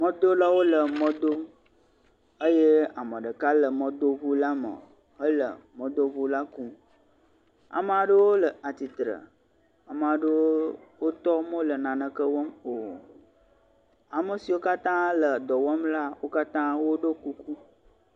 mɔdolawo le mɔ dom eye ame ɖeka le mɔdodola me hele mɔdodola kum. Amaa ɖewo le attire. Amaa ɖewo tɔ wo mele naneke wɔm o. Ame siwo katã le dɔ wɔm la wo katã woɖiɔ kuku.